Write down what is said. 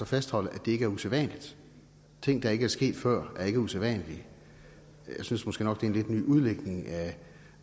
fastholde at det ikke er usædvanligt ting der ikke er sket før er ikke usædvanlige jeg synes måske nok at en lidt ny udlægning af